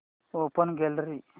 open gallery